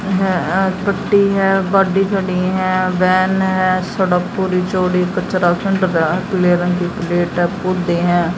गड्डी खड़ी है वैन है सड़क पूरी चौड़ी कचरा पीले रंग की है।